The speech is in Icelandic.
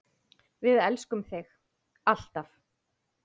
Við elskum þig, alltaf.